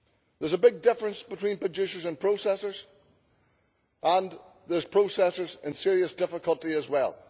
There is a big difference between producers and processors, and there are processors in serious difficulty as well.